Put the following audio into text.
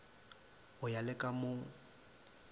go ya le ka mo